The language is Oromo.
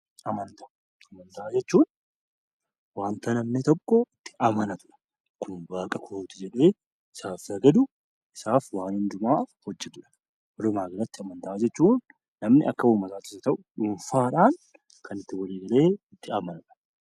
Amantaa Amantaa jechuun wanta namni tokko itti amanatu dha. Kun Waaqa kooti jedhee isaaf sagadu, isaaf waan hundumaa hojjetu jechuu dha. Walumaa galatti amantaa jechuun namni akka uummataattis haa ta'u dhuunfaa dhaan kan itti walii galee itti amanu dha.